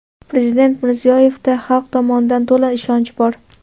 Prezident Mirziyoyevda xalq tomonidan to‘la ishonch bor.